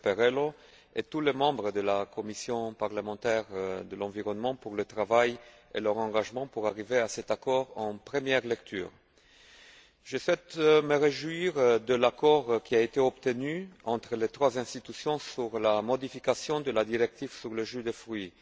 Perello, et tous les membres de la commission parlementaire de l'environnement pour leur travail et leur engagement pour arriver à cet accord en première lecture. Je me réjouis de l'accord qui a été obtenu entre les trois institutions sur la modification de la directive sur les jus de fruits.